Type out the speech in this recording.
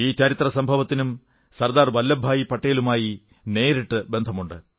ഈ ചരിത്ര സംഭവത്തിനും സർദാർ വല്ലഭഭായി പട്ടേലുമായി നേരിട്ടുള്ള ബന്ധമുണ്ട്